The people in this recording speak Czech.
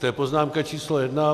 To je poznámka číslo jedna.